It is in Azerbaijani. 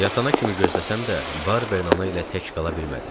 Yatana kimi gözləsəm də, Barbern ilə tək qala bilmədim.